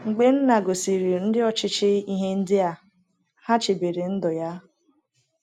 Mgbe Nna gosiri ndị ọchịchị ihe ndị a, ha chebere ndụ ya.